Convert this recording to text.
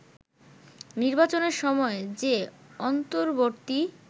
নির্বাচনের সময় যে অন্তর্বর্তী